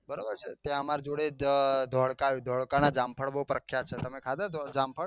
બરાબર ત્યાં અમાર જોડે જ ધોળકા આવ્યું ધોળકા ના જામફળ બઉ પ્રખ્યાત છે તમે ખાધા જામફળ.